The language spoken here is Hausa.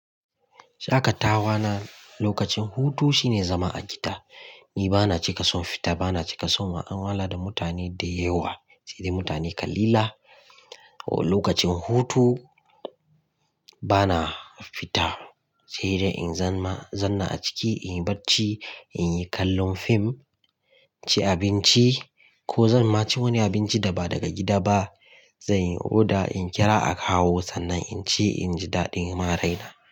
Shakatawana lokacin hutu shine zama a gida. Ni bana cika son fita, bana cika son ma'an wala da mutane da yawa, sai dai mutane kalila. Lokacin hutu bana fita, sai dai in zan ma-- zanna a ciki, in yi barci, in yi kallon fim, ci abinci ko zan ma ci wani abinci da ba daga gida ba. Zan yi order, in kira a kawo sannan in ci, in ji daɗin maraina.